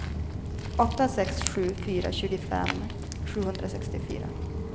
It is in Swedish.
åtta sex sju fyra tjugofem sjuhundrasextiofyra